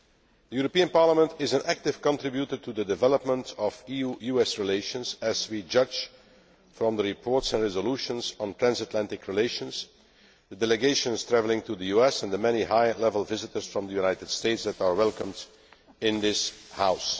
The European Parliament is an active contributor to the development of EU US relations, as we can judge from the reports and resolutions on transatlantic relations, the delegations travelling to the US and the many high level visitors from the United States that are welcomed in this House.